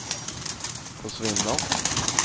försvinner